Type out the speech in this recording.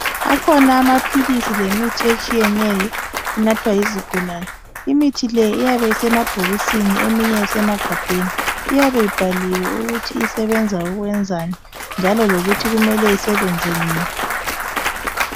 Akhona amaphilisi lemithi etshiyeneyo enathwa yizigulane imithi le iyabe isemabhokisini eminye isemagabheni iyabe ibhaliwe ukuthi isebenza ukwenzani njalo lokuthi kumele isebenze nini.